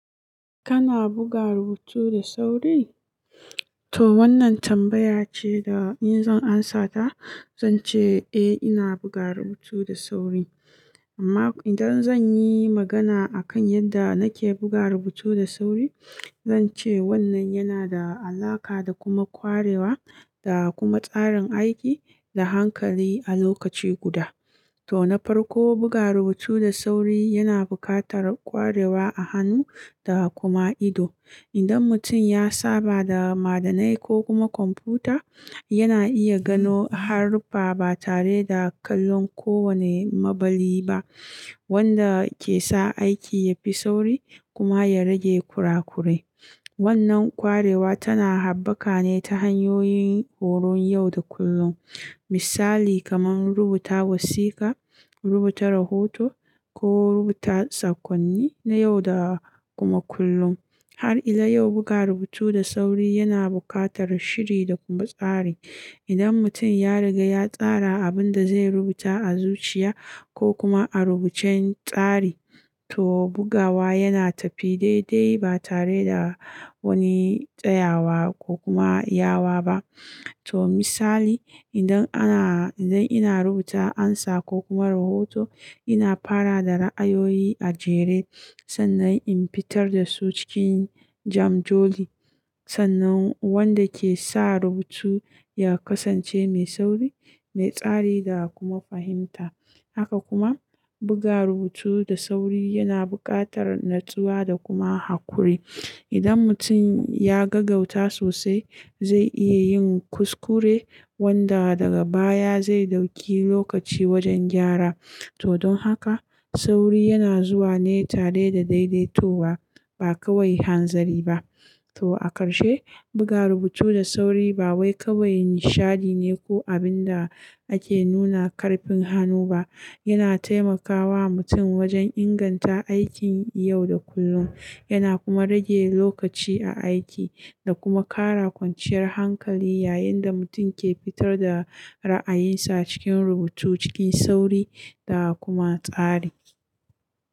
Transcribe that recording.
Kana buga rubutu da sauri? Toh wannan tambaya ce da in zan amsa ta zan ce eh ina buga rubutu da sauri. Amma idan zan yi magana akan yadda nake buga rubutu da sauri, zan ce wannan yana da alaƙa da kuma kwarewa da kuma tsarin aiki da hankali a lokaci guda. Toh na farko buga rubutu da sauri yana buƙatar kwarewa a hannu da kuma ido. Idan mutum ya saba da madannai ko kuma kwamfuta, yana iya gano haruffa ba tare da kallon kowane maɓalli ba, wanda ke sa aiki ya fi sauri kuma ya rage kurakure. Wannan kwarewa tana haɓaka ne ta hanyoyin horon yau da kullum. Misali kamar rubuta wasiƙa, rubuta rahoto ko rubuta sakonni na yau da kuma kullum. Har ila yau buga rubutu da sauri yana buƙatar shiri da kuma tsari. Idan mutum ya riga ya tsara abin da zai rubuta a zuciya ko kuma a rubucen tsari, to bugawa yana tafi daidai ba tare da wani tsayawa ko kuma yawa ba. To misali idan ana, idan ina rubuta amsa ko kuma rahoto, ina fara da ra'ayoyi a jere sannan in fitar da su cikin jam joli sannan wanda ke sa rubutu ya kasance mai sauri, mai tsari da kuma fahimta. Haka kuma buga rubutu da sauri yana buƙatar natsuwa da kuma haƙuri. Idan mutum ya gagauta sosai zai iya yin kuskure wanda daga baya zai ɗauki lokaci wajen gyara. To don haka sauri yana zuwa ne tare da daidaitowa ba kawai hanzari ba. To a ƙarshe buga rubutu da sauri ba wai kawai nishadi ne ko abin da ake nuna ƙarfin hannu ba. Yana taimakawa mutum wajen inganta aikin yau da kullum. Yana kuma rage lokaci a aiki da kuma ƙara kwanciyar hankali yayin da mutum ke fitar da ra'ayinsa cikin rubutu cikin sauri da kuma tsari.